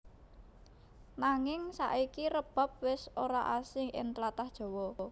Nanging saiki rebab wis ora asing ing tlatah Jawa